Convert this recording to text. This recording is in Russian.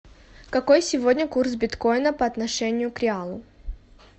какой сегодня курс биткоина по отношению к реалу